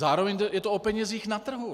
Zároveň je to o penězích na trhu.